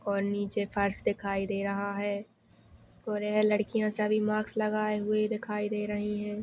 और नीचे फर्श दिखाई दे रहा है। और य लड़किया सभी मास्क लगाए हुई दिखाई दे रही है।